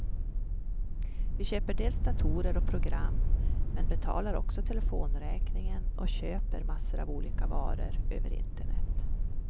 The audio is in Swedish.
Vi köper dels datorer och program, men betalar också telefonräkningen och köper massor av olika varor över internet.